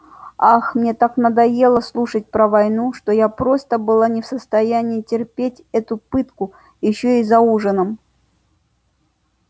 ах мне так надоело слушать про войну что я просто была не в состоянии терпеть эту пытку ещё и за ужином